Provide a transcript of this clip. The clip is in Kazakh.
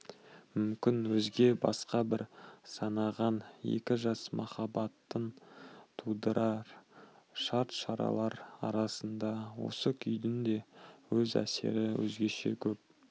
мүмкін өзге басқа біз санаған екі жас махаббатын тудырар шарт-шаралар арасында осы күйдің де өз әсері өзгеше көп